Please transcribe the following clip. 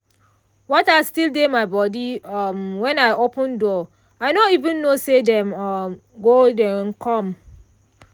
water still dey my body um when i open door i no even know say dem um go um come.